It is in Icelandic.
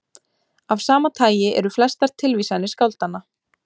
Af sama tagi eru flestar tilvísanir skáldanna.